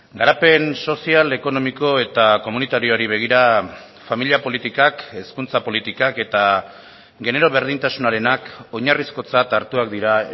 garapen sozial ekonomiko eta komunitarioari begira familia politikak hezkuntza politikak eta genero berdintasunarenak oinarrizkotzat hartuak dira